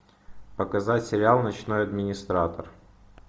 показать сериал ночной администратор